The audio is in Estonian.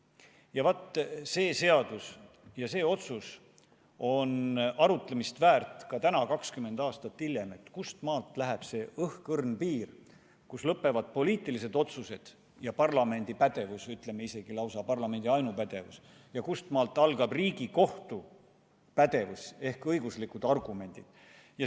See otsus ja sellega seotud seadus on arutlemist väärt ka täna, 20 aastat hiljem: kustmaalt läheb see õhkõrn piir, kus lõpevad poliitilised otsused ja parlamendi pädevus – või isegi lausa parlamendi ainupädevus – ja kust algab Riigikohtu pädevus ehk õiguslikud argumendid.